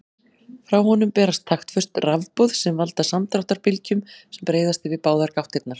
Frá honum berast taktföst rafboð sem valda samdráttarbylgjum sem breiðast yfir báðar gáttirnar.